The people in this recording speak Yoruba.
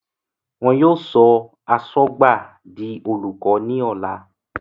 Wọ́n yóò sọ Asọ́gbàb di Olùkọ ní ọ̀la